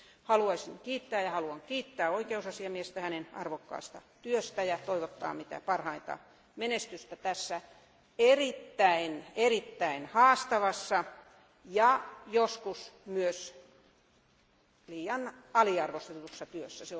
Haluaisin kiittää ja haluan kiittää oikeusasiamiestä hänen arvokkaasta työstään ja toivottaa mitä parhainta menestystä tässä erittäin, erittäin haastavassa ja joskus myös liian aliarvostetussa työssä.